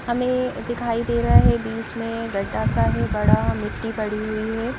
हमें दिखाई दे रहा है बीच में गड्ढा सा है बड़ा मिट्टी पड़ी हुई है।